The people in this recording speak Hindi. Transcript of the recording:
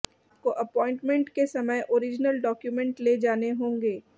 आपको अपॉइन्टमेंट के समय ऑरिजनल डॉक्युमेंट ले जाने होंगे